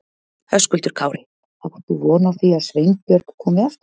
Höskuldur Kári: Átt þú von á því að Sveinbjörg komi aftur?